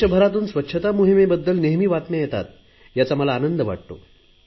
देशभरातून स्वच्छता मोहिमेबद्दल नेहमी बातम्या येतात याचा मला आनंद वाटतो